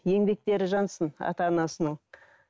еңбектері жансын ата анасының